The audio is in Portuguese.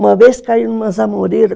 Uma vez caí numa zamoreira.